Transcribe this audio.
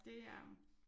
Det er øh